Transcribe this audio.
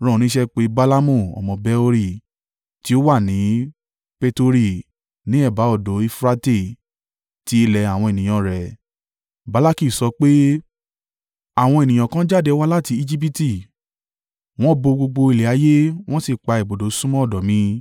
rán oníṣẹ́ pé Balaamu ọmọ Beori, tí ó wà ní Petori, ní ẹ̀bá odò Eufurate, ti ilẹ̀ àwọn ènìyàn rẹ. Balaki sọ pé, “Àwọn ènìyàn kan jáde wá láti Ejibiti; wọ́n bo gbogbo ilẹ̀ ayé wọ́n sì pa ibùdó súnmọ́ ọ̀dọ̀ mi.